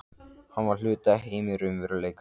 Hann var hluti af heimi raunveruleikans.